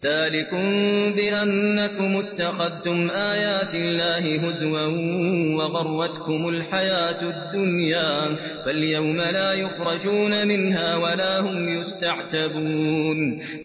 ذَٰلِكُم بِأَنَّكُمُ اتَّخَذْتُمْ آيَاتِ اللَّهِ هُزُوًا وَغَرَّتْكُمُ الْحَيَاةُ الدُّنْيَا ۚ فَالْيَوْمَ لَا يُخْرَجُونَ مِنْهَا وَلَا هُمْ يُسْتَعْتَبُونَ